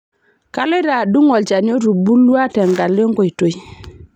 Kaloito adung' olchani otubulua tenkalo enkoitoi.